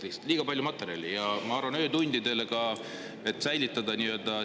Läheb liiga pikaks lihtsalt ja ma arvan, et öötundideni ka, kuna on liiga palju materjali.